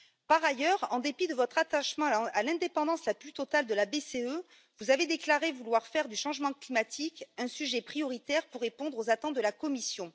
Par ailleurs, en dépit de votre attachement à l'indépendance la plus totale de la BCE, vous avez déclaré vouloir faire du changement climatique un sujet prioritaire pour répondre aux attentes de la Commission.